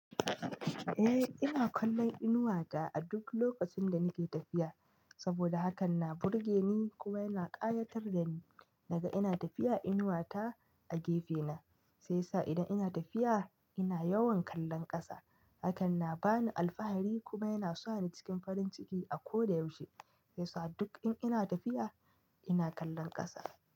Eh, ina kallon inuwa ta a duk lokacin da nake tafiya saboda hakan na burge ni kuma yana ƙayatar da ni. Naga ina tafiya, inuwa ta a gefe na, sai sa idan ina tafiya ina yawan kallon ƙasa. Hakan na ba ni alfahari kuma yana sa ni cikin farin ciki a ko da yaushe. Shiyasa duk in ina tafiya ina kallon ƙasa.